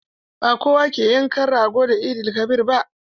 Ba kowa ke yankan rago da Eid-el-kabir ba.